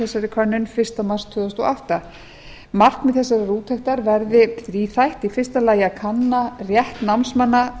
þessari könnun fyrsta mars tvö þúsund og átta markmið þessarar úttektar verði þríþætt fyrsta að kanna rétt námsmanna